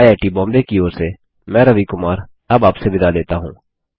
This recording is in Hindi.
आईआईटी बॉम्बे की ओर से मैं रवि कुमार अब आपसे विदा लेता हूँ